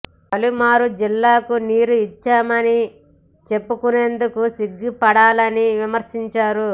పాలమూరు జిల్లాకు నీరు ఇచ్చామని చెప్పుకునేందుకు సిగ్గు ఉండాలని విమర్శించారు